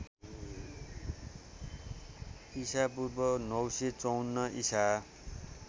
ईपू ९५४ ईसा